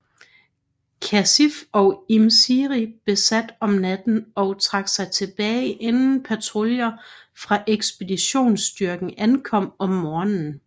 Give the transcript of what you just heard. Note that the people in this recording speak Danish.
Khasif og Im Siri besat om natten og trak sig tilbage inden patruljer fra ekspeditionsstyrken ankom om morgenen